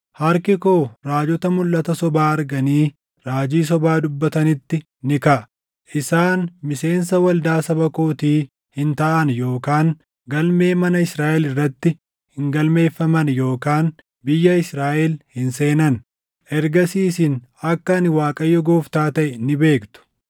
Harki koo raajota mulʼata sobaa arganii raajii sobaa dubbatanitti ni kaʼa. Isaan miseensa waldaa saba kootii hin taʼan yookaan galmee mana Israaʼel irratti hin galmeeffaman yookaan biyya Israaʼel hin seenan. Ergasii isin akka ani Waaqayyo Gooftaa taʼe ni beektu.